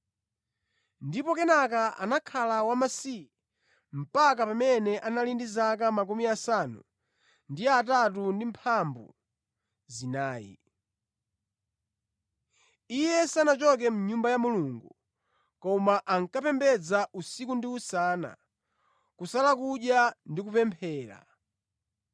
ndipo kenaka anakhala wamasiye mpaka pamene anali ndi zaka 84. Iye sanachoke mʼNyumba ya Mulungu koma ankapembedza usiku ndi usana, kusala kudya ndi kupemphera.